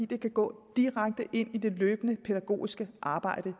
det kan gå direkte ind i det løbende pædagogiske arbejde